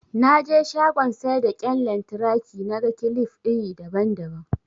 Naje shagon saida kyan lantraki naga kilif iri daban daban